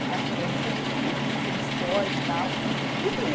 Acho que atlética, uhum, enfim, que eu fui do esporte e tal. Uhum.